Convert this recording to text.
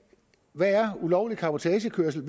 hvad er ulovlig cabotagekørsel